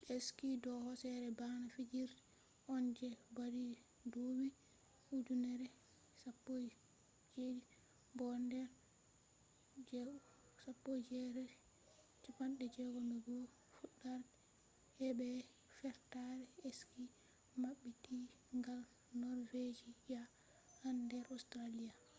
ski do hoosere bana fijirde on je ɓadi ɗuɓɓi ujeneji 17 bo nder 1861 fuɗɗarde geeɓe fertare ski maɓɓiti gal norvejiya'en nder australia